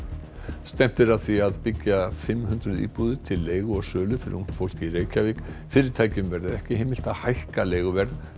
stefnt er að því að byggja fimm hundruð íbúðir til leigu og sölu fyrir ungt fólk í Reykjavík fyrirtækjum verður ekki heimilt að hækka leiguverð